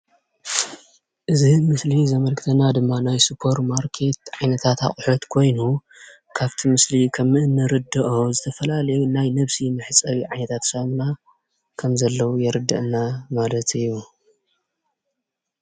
እዚ ምስሊ ዘመልክተና ድማ ናይ ሱፐርማርኬት ዓይነታት ኣቑሑ ኮይኑ ካብቲ ምስሊ ከምእንርድኦ ዝተፈላለዩ ናይ ነብሲ መሕፀቢ ዓይነታት ሳሙና ከምዘለዉ የርድአና ማለት እዩ፡፡